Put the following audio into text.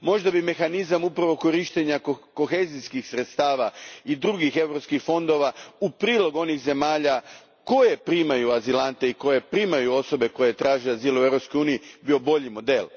Možda bi mehanizam korištenja kohezijskih sredstava i drugih europskih fondova, u prilog onih zemalja koje primaju azilante i koje primaju osobe koje traže azil u Europskoj uniji, bio bolji model.